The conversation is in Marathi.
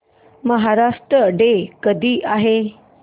महाराष्ट्र डे कधी आहे